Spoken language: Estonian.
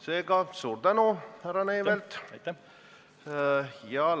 Seega suur tänu, härra Neivelt!